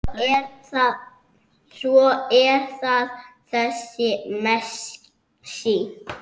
Svo er það þessi Messi.